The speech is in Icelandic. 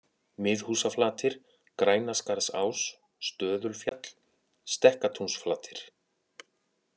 Miðhúsaflatir, Grænaskarðsás, Stöðulfjall, Stekkatúnsflatir